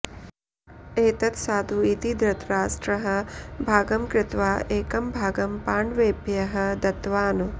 एतत् साधु इति धृतराष्ट्रः भागं कृत्वा एकं भागं पाण्डवेभ्यः दत्तवान्